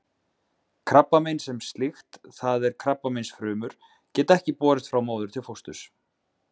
Krabbamein sem slíkt, það er krabbameinsfrumur, geta ekki borist frá móður til fósturs.